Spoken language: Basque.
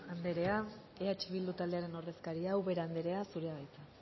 anderea eh bildu taldearen ordezkaria ubera anderea zurea da hitza